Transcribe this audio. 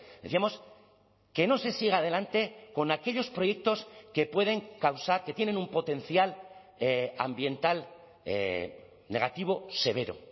decíamos que no se siga adelante con aquellos proyectos que pueden causar que tienen un potencial ambiental negativo severo